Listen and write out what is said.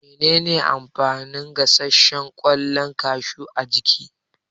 Mene ne amfanin gasashshen kwallon kashu a jiki?